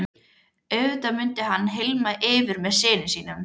Auðvitað mundi hann hylma yfir með syni sínum.